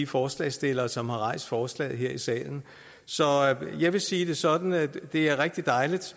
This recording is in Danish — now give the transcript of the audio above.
forslagsstillerne som har rejst forslaget her i salen så jeg vil sige det sådan at det er rigtig dejligt